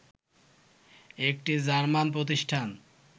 একটি জার্মান প্রতিষ্ঠান